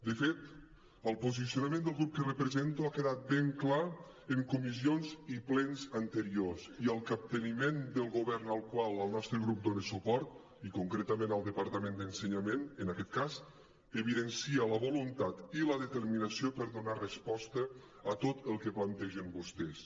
de fet el posicionament del grup que represento ha quedat ben clar en comissions i plens anteriors i el capteniment del govern al qual el nostre grup dona suport i concretament al departament d’ensenyament en aquest cas evidencia la voluntat i la determinació per donar resposta a tot el que plantegen vostès